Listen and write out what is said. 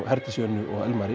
Herdísi Önnu